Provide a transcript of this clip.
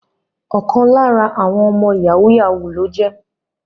Ọkan lara awọn ọmọ yahoo yahoo loje